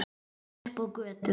Komin upp á götuna.